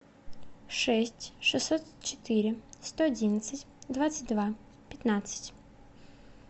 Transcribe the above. шесть шестьсот четыре сто одиннадцать двадцать два пятнадцать